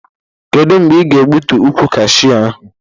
Kedụ mgbe ị ga egbutu ụkwụ kashew ahụ?